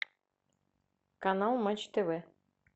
канал матч тв